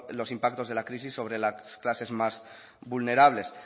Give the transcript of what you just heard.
los impactos de la crisis sobres las clases más vulnerables